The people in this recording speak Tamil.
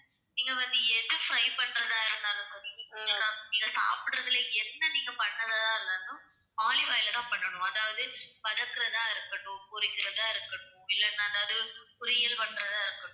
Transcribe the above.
நீங்க வந்து எது fry பண்றதா இருந்தாலும், நீங்க சாப்பிடுறதுல என்ன நீங்க பண்றதா இருந்தாலும், olive oil ல தான் பண்ணனும். அதாவது வதக்குறதா இருக்கட்டும், பொறிக்கிறதா இருக்கட்டும், இல்லன்னா எதாவது பொறியல் பண்ணறதா இருக்கட்டும்